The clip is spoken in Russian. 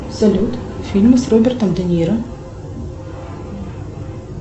салют фильмы с робертом де ниро